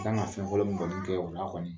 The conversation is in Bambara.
Kan ka fɛn fɔlɔ min kɔni kɛ o la kɔni